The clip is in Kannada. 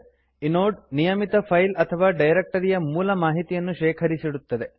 ಇನೋಡ್ ನಿಯಮಿತ ಫೈಲ್ ಅಥವಾ ಡೈರೆಕ್ಟರಿಯ ಮೂಲ ಮಾಹಿತಿಯನ್ನು ಶೇಖರಿಸಿಡುತ್ತದೆ